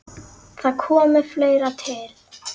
Þar komi fleira til.